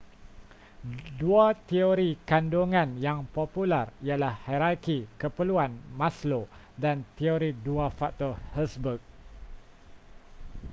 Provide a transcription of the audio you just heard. dua teori kandungan yang popular ialah hierarki keperluan maslow dan teori dua faktor hertzberg